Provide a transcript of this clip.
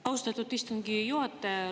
Austatud istungi juhataja!